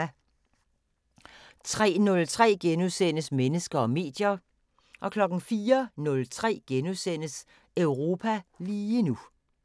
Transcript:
03:03: Mennesker og medier * 04:03: Europa lige nu *